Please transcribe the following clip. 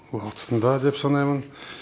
уақытында деп санаймын